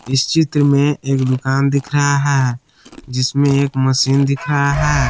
इस चित्र में एक दुकान दिख रहा है जिसमें एक मशीन दिख रहा है।